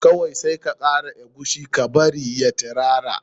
Kawai sai ka kara eguisi ka bari ya tirara.